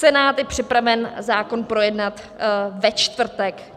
Senát je připraven zákon projednat ve čtvrtek.